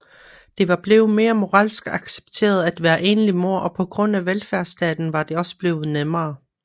Det var blevet mere moralsk accepteret at være enlig mor og på grund af velfærdsstaten var det også blevet nemmere